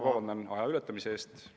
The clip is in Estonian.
Palun vabandust aja ületamise eest!